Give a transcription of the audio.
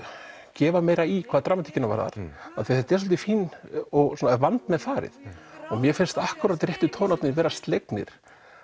gefa meira í hvað dramatíkina varðar af því þetta er svolítið fínt og með farið og mér finnst akkúrat réttu tónarnir vera slegnir